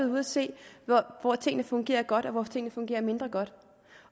ude at se hvor tingene fungerer godt og hvor tingene fungerer mindre godt